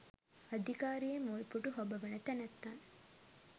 අධිකාරියේ මුල් පුටු හොබවන තැනැත්තන්